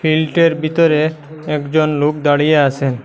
ফিল্টের ভিতরে একজন লোক দাঁড়িয়ে আসেন।